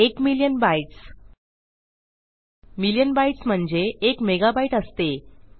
एक million bytes million bytes म्हणजे एक मेगाबाईट असते